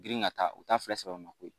Girin ka taa u t'a fila sɛbɛnako ye